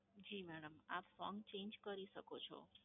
જી madam, આપ song change કરી શકો છો.